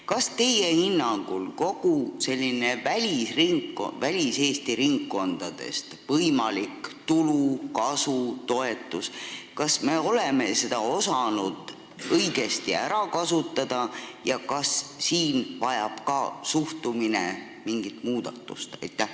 Kas teie hinnangul me oleme osanud kogu väliseesti ringkondadest tulenevat võimalikku tulu, kasu, toetust õigesti ära kasutada ja kas ka siin vajab suhtumine mingit muudatust?